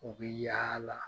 U bi yaala